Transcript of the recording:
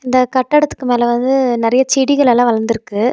இந்த கட்டடத்துக்கு மேல வந்து நெறைய செடிகள் எல்லாம் வளந்துருக்கு.